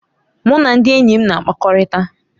Mụ na ndị enyi m na-akpakọrịta.